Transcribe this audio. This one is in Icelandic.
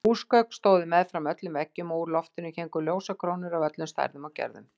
Húsgögn stóðu meðfram öllum veggjum og úr loftinu héngu ljósakrónur af öllum stærðum og gerðum.